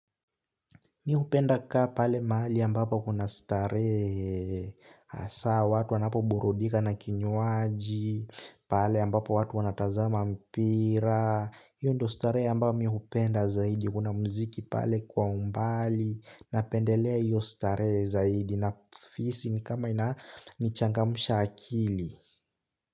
Mi hupenda kukaa pale mahali ambapo kuna starehe hasa watu wanapo burudika na kinyuaji, pale ambapo watu wanatazama mpira, hiyo ndo starehe ambao mimi hupenda zaidi, kuna muziki pale kwa umbali, napendelea hiyo starehe zaidi, nahisi nikama inanichangamsha akili.